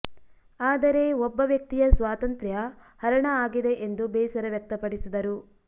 ಆದರೆ ಒಬ್ಬ ವ್ಯಕ್ತಿಯ ಸ್ವಾತಂತ್ರ್ಯ ಹರಣ ಆಗಿದೆ ಎಂದು ಬೇಸರ ವ್ಯಕ್ತಪಡಿಸಿದರು